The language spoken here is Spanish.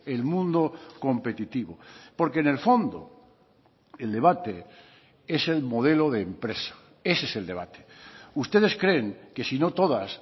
el mundo competitivo porque en el fondo el debate es el modelo de empresa ese es el debate ustedes creen que sino todas